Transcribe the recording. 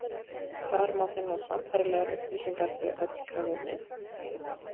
Þar má finna sambærilegar upplýsingar fyrir öll frumefnin.